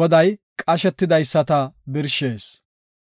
Goday qashetidaysata birshees;